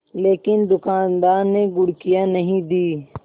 लेकिन दुकानदार ने घुड़कियाँ नहीं दीं